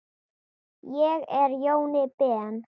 Ég er Jóni Ben.